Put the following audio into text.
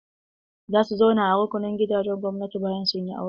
Za su zauna a rukunin gidajen gwamnati bayan sun yi aure.